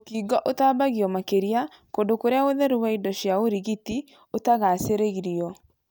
Mũkingo ũtambagio makĩria kũndũ kũria ũtheru wa indo cia ũrigiti ũtagacagĩrĩrio.